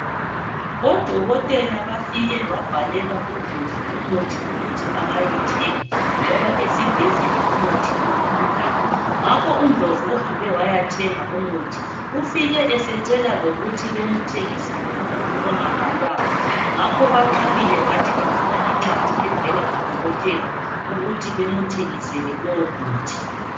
Odokotela bafike babhalela UNdlovu umuthu ukuthi eyethenga, ubesefuna lokuthenga umuthi angawubhalelwanga ngakho banqabile, bathi bafuna incwadi evela ku dokotela ukuthi bemthengisele lowu muthi.